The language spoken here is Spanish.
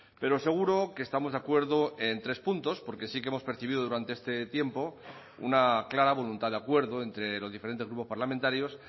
pero seguro que estamos de acuerdo en tres puntos porque sí que hemos percibido durante este tiempo una clara voluntad de acuerdo entre los diferentes grupos parlamentarios